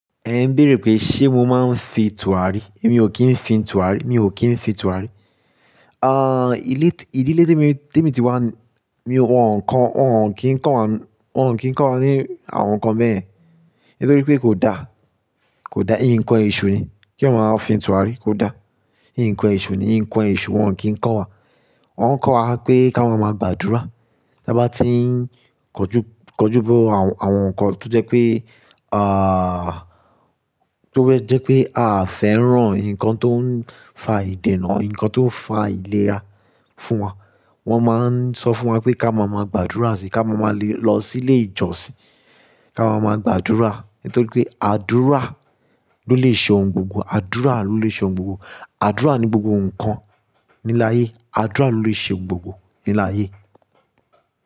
Ẹ ń béèrè pé ṣé mo máa ń fi tùràrí. Èmi ò kí ń fi tùràrí, mi ò kí ń fi tùràrí. Ah, ilé, ìdílé tè mi, tè mi ti wá mi, wọ̀n ǹkan, wọn ò kí ń kọ́ wa, wọn ò kí ń kọ́ wa ní àwọn nǹkan bẹ́yẹ̀n, nítorí pé kò da, kò da. Ín kan èṣù ni. Kí èèyàn máa fi tùràrí kò da. Íń kan ẹ̀ṣù ni, ín kan ẹ̀ṣù wọn ò kí ń kọ́ wa. Wọ́n ń kọ́ wa pé ká máa máa gbàdúrà. Bá ti ń kojú, kojú bọ àwọn, àwọn nǹkan tó jẹ́ pé, ah, tó jẹ́ pé à fẹ́ràn nǹkan tó ń fa ìdènà, nǹkan tó ń fa àìlera fún wa. Wọ́n máa ń sọ fún wa pé ká máa máa gbàdúrà síi, ká máa máa le lọ sí ilé ìjọsìn, ká máa máa gbàdúrà. Nítorí pé àdúrà ló lè ṣe ohun gbogbo, àdúrà ló lè ṣe ohun gbogbo. Àdúrà ni gbogbo nǹkan ní láyé. Àdúrà ló lè ṣe ohun gbogbo ní láyé.